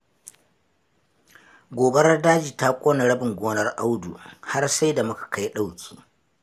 Gobarar daji ta ƙone rabin gonar Audu, har sai da muka kai ɗauki.